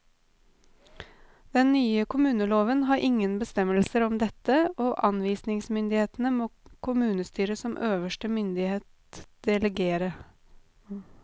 Den nye kommuneloven har ingen bestemmelser om dette, og anvisningsmyndigheten må kommunestyret som øverste myndighet delegere.